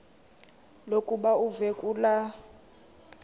lokuba uve kulaa